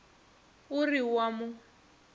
o re o a mo